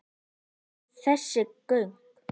Ertu með þessi gögn?